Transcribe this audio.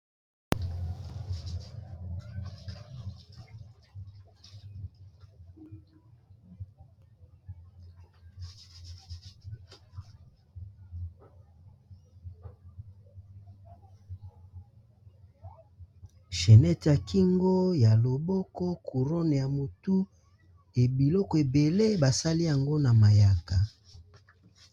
Chainete ya kingo ya loboko, courone ya motu, e biloko ebele basali yango na mayaka.